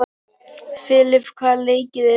Filip, hvaða leikir eru í kvöld?